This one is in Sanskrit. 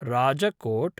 राजकोट्